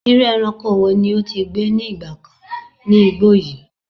Iru eranko wo ni o ti gbe ni igba kan ni igbo yi?